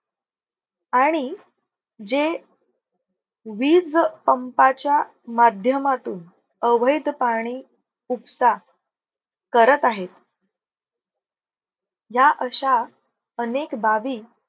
आणि जे वीज पंपाच्या माध्यमातून अवैध पाणी उपसा करत आहेत. या अश्या अनेक बाबी